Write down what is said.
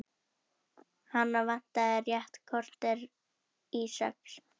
Hana vantar rétt kortér í sex.